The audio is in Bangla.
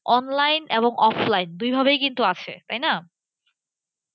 Online এবং offline দুই ভাবেই কিন্তু আছে তাইনা?